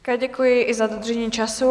Také děkuji, i za dodržení času.